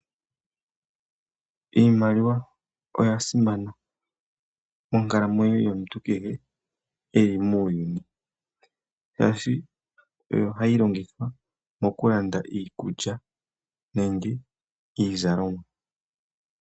Iimaliwa oyasimana monkalamwenyo yomuntu kehe e li muuyuni shaashi oyo hayi longithwa mokulanda iikulya nenge iizalomwa.